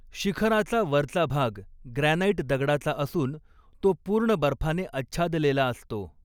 शिखराचा वरचा भाग ग्रॅनाईट दगडाचा असून तो पूर्ण बर्फाने आच्छादलेला असतो.